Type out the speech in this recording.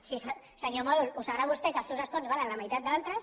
sí senyor mòdol ho deu saber vostè que els seus escons valen la meitat que altres